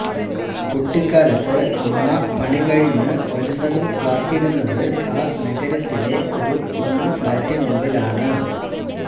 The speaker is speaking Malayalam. കുട്ടിക്കാലത്ത് അമ്മ പണി കഴിഞ്ഞു വരുന്നതും കാത്തിരുന്നത് ആ നഗരത്തിലെ ഒരു കുഞ്ഞു ഫ്ലാറ്റിനുള്ളിലുള്ളിലാണ്